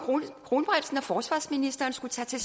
kronprinsen og forsvarsministeren skulle tage til